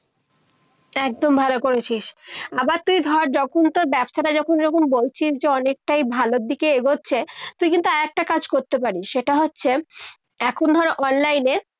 একদম ভালো করেছিস। আবার তুই ধর যখন তোর ব্যবসাটা যখন যখন বলছিস যে অনেকটাই ভালোর দিকে এগোচ্ছে। তুই কিন্তু একটা কাজ করতে পারিস। সেটা হচ্ছে, এখন ধর online এ